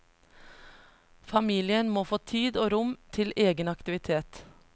Familien må få tid og rom til egen aktivitet.